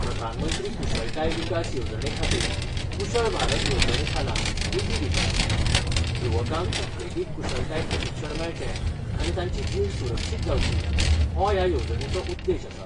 प्रधानमंत्री कुशळताय विकास येवजणेखातीर कुशळ भारत येवजणेखाला निधी दितात युवकांक उद्देगीक कुशळताय प्रशिक्षण मेळचे आनी तांची जीण सुरक्षित जावची हो ह्या येवजणेचो उद्देश आसा.